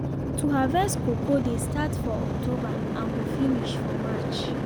to harvest cocoa dey start for october and go finish for march.